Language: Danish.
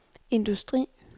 industri